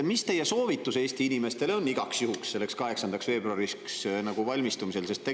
Mis teie soovitus Eesti inimestele on igaks juhuks selleks 8. veebruariks valmistumisel?